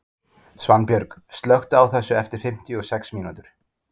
Svanbjörg, slökktu á þessu eftir fimmtíu og sex mínútur.